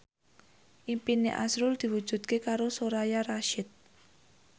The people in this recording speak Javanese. impine azrul diwujudke karo Soraya Rasyid